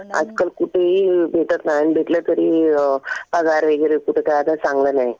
आजकाल कुठेही भेटत नाही आणि भेटलं तरी पगार वगैरे कुठं काय आता चांगला नाही.